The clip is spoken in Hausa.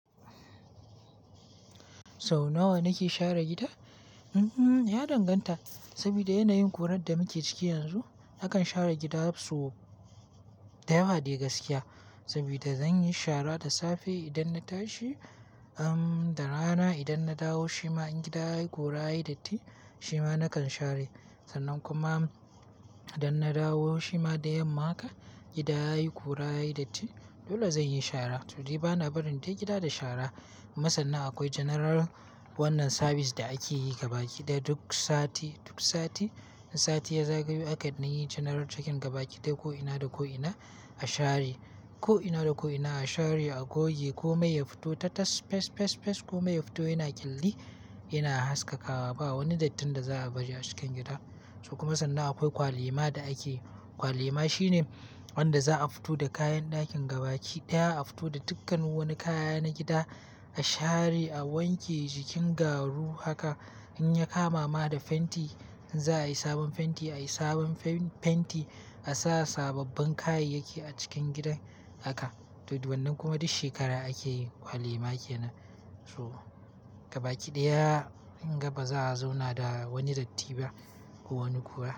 Sau nawa nake share gida? Ya danganta. Saboda yanayin kurar da muke ciki yanzu, nakan share gida so da yawa, dai gaskiya. Saboda zan yi shara da safe idan na tashi, da rana idan na dawo, shima in gida yayi ƙura, yayi datti, shima na kan share. Sannan kuma idan na dawo, shima da yamma haka, gida yayi ƙura, yayi datti dole zan yi shara. To dai bana barin dai gida da shara. Kuma sannan akwai janaral wannan sabis da ake yi gabaki daya duk sati, duk sati. Sati ya zagayo haka nayi janaral cekin gabaki ɗaya ko ina da ko ina a share. Ko ina da ko ina a share a goge. Komai ya fito ta tas fes, fes, fes. Komai ya fito yana kyelli, yana haskakawa. Ba wani dattin da za a baje a cikin gida. So kuma sannan akwai kwali ma da ake. Kwali ma shine wanda za'a fito da kayan dakin gabaki daya. A fito da dukkan wani kaya na gida a share, a wanke jikin garu haka, in ya kama ma da fenti, in za'a yi sabon fenti, a yi sabon fenti. A sa sababbin kayayyaki a cikin gidan haka. To, wannan kuma duk shekara ake yi. Kwali ma kenan. So gabaki daya in gaba za'a zauna da wani datti ba ko wani ƙura.